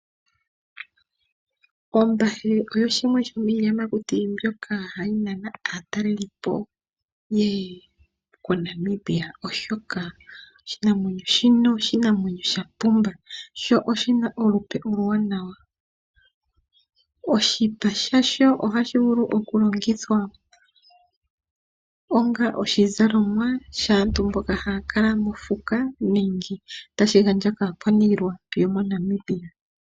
Ombahe oyo shimwe shomiiyamakuti mbyoka hayi nana aataleli po yeye koNamibia oshoka oshinamwenyo shino oshinamwenyo shapumba sho oshi na olupe oluwanawa . Oshipa sha sho ohashi vulu okulongithwa onga oshizalomwa shaantu mboka haya kala mofuka nenge tashi gandjwa kaakwaanilwa yo moNamibia.